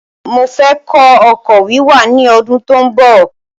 Mofẹ́ kọ́ ọkọ̀ wíwà ní ọdún tó ń bọ̀